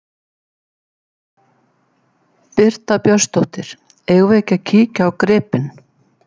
Birta Björnsdóttir: Eigum við ekki að kíkja á gripinn?